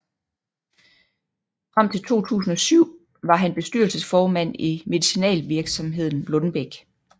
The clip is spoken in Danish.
Frem til 2007 var han bestyrelsesformand i medicinalvirksomheden Lundbeck